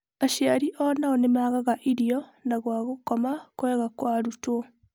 Aciari o-nao nĩ magaga irio na gwa gũkoma kwega kwa arutwo.